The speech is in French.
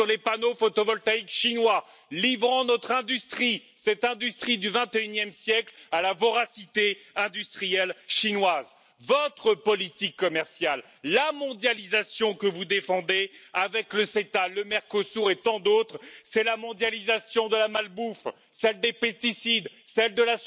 ne sont plus forcément synonyme d'amitié, voire de solidarité. Vous même êtes en train de recoller les morceaux de nos relations commerciales avec les États Unis. Mais la question facile, qui est posée ici par de nombreux parlementaires, est Que fait l'Europe?